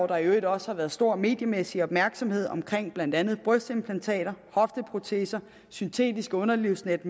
der i øvrigt også været stor mediemæssig opmærksomhed om blandt andet brystimplantater hofteproteser syntetisk underlivsnet